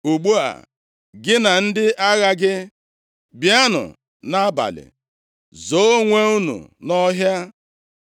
Ugbu a, gị na ndị agha gị, bịanụ nʼabalị zoo onwe unu nʼọhịa.